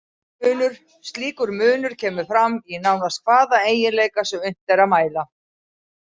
Slíkur munur kemur fram í nánast hvaða eiginleika sem unnt er að mæla.